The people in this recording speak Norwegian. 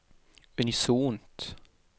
unisont